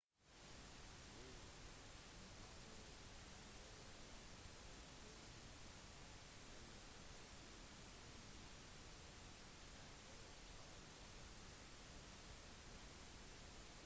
ville dyr kan være enten folkesky eller aggressive miljøet kan være kaldt varmt eller fiendtlig på annet vis